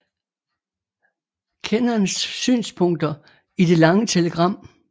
Kennans synspunkter i Det lange Telegram